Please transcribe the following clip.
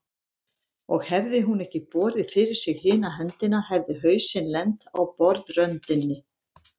Og hefði hún ekki borið fyrir sig hina höndina hefði hausinn lent á borðröndinni.